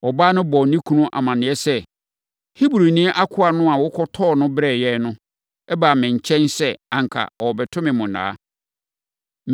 Ɔbaa no bɔɔ ne kunu amaneɛ sɛ, “Hebrini akoa no a wokɔtɔɔ no brɛɛ yɛn no baa me nkyɛn sɛ anka ɔrebɛto me monnaa.